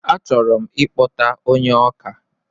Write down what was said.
A chọrọ ikpọta ónyé ọkà